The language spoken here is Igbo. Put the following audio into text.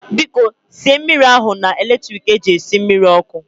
Biko sie mmiri ahu na electrik eji esi mmiri ọkụ